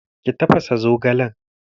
Ki tafasa zogalen!